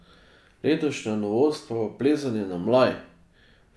Letošnja novost pa bo plezanje na mlaj.